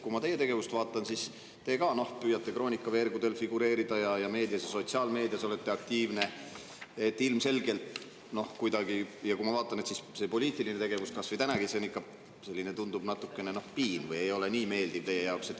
Kui ma teie tegevust vaatan, siis te ka püüate Kroonika veergudel figureerida ja olete meedias ja sotsiaalmeedias aktiivne, ja kui ma vaatan seda poliitilist tegevust kasvõi tänagi, siis ikkagi kuidagi tundub, et see on teile natukene selline piin või ei ole nii meeldiv teie jaoks.